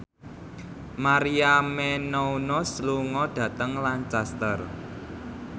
Maria Menounos lunga dhateng Lancaster